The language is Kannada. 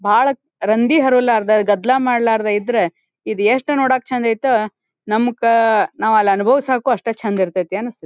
ಬಾಳ ರಂದಿ ಹರಿವಲಾರದೆ ಗದ್ದಲ ಮಾಡಲಾರದೆ ಇದ್ರೆ ಇದು ಎಷ್ಟು ನೋಡಾಕ್ ಚಂದ್ ಐತೊ ನಮಕ ನಾವು ಅಲ್ಲಿ ಅನುಭವಿಸಾಕು ಅಷ್ಟೇ ಚಂದ್ ಇರತೈತಿ ಅಂತ ಅನಿಸ್ತತು.